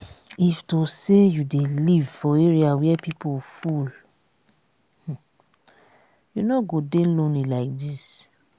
if to say you dey live for area where people full you no go dey lonely like dis